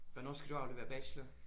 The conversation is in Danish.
Hvornår skal du aflevere bachelor?